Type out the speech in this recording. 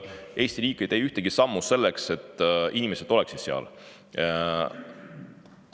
Eesti riik ei tee ühtegi sammu selleks, et inimesed seal.